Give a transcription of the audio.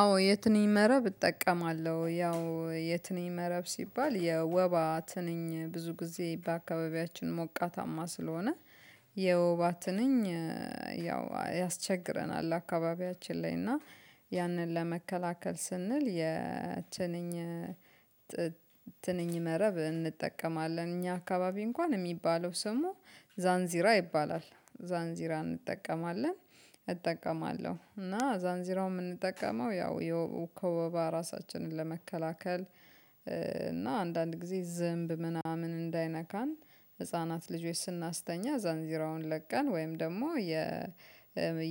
አዎ የትንኝ መረብ እጠቀማለሁ ያው የትንኝ መረብ ሲባል የወባ ትንኝ ብዙ ጊዜ በአካባቢያችን ሞቃታማ ስለሆነ የወባ ትንኝ ያው ያስቸግረናል። አካባቢያችን ላይ እና ያንን ለመከላከል ስንል የትንኝ ትንኝ መረብ እንጠቀማለን። እኛ አካባቢ እንኳን የሚባለው ስሙ ዛንዚራ ይባላል ዛንዚራ እንጠቀማለን። እጠቀማለሁ እና ዛንዚራው የምንጠቀመው ያው ከወባ ራሳችንን ለመከላከል። እና አንዳንድ ጊዜ ዝንብ ምናምን እንዳይነካን ህፃናት ልጆች ስናስተኛ ዛንዚራውን ለቀን ወይም ደግሞ የ